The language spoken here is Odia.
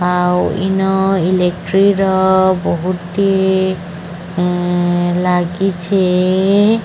ଆଉ ଇନୋ ଇଲେକ୍ଟ୍ରିର ବୋହୁତ ହିଁ ଲାଗିଛି।